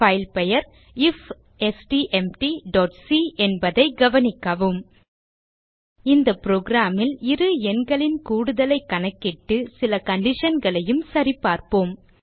file பெயர் ifstmtசி என்பதை கவனிக்கவும் இந்த புரோகிராம் ல் இரு எண்களின் கூடுதலை கணக்கிட்டு சில conditionகளையும் சரிபார்ப்போம்